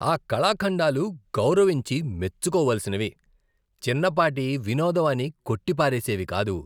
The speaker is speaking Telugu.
ఈ కళాఖండాలు గౌరవించి, మెచ్చుకోవలసినవి, చిన్నపాటి వినోదం అని కొట్టి పారేసేవి కాదు.